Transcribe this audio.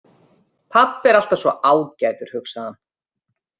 Pabbi er alltaf svo ágætur, hugsaði hann.